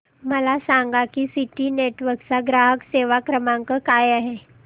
मला सांगा की सिटी नेटवर्क्स चा ग्राहक सेवा क्रमांक काय आहे